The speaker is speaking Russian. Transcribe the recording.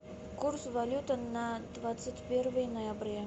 курс валюты на двадцать первое ноября